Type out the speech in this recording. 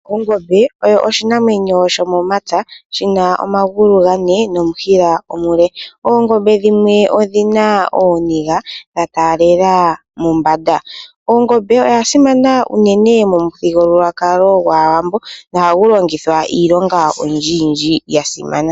Ongombe oyo oshinamwenyo shomomapya, shi na omagulu gane nomushila omule. Oongombe dhimwe odhi na ooniga dha taalela mombanda. Ongombe oya simana uunene momuthigululwakalo gwaawambo, no hayi longithwa iilonga oyindji yindji ya simana.